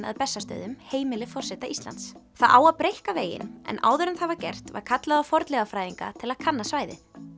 að Bessastöðum heimili forseta Íslands það á að breikka veginn en áður en það var gert var kallað á fornleifafræðinga til að kanna svæðið